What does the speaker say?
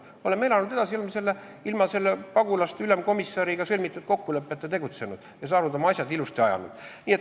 Me oleme elanud edasi, oleme tegutsenud ilma selle pagulaste ülemkomissariga sõlmitud kokkuleppeta ja saanud oma asjad ilusasti aetud.